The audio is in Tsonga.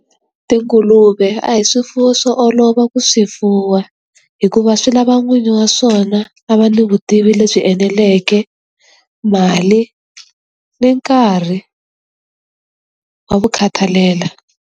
Tinguluve a hi swifuwo swo olova ku swi fuwa hikuva swi lava n'wini wa swona a va ni vutivi lebyi eneleke, mali ni nkarhi wa ku khathalela.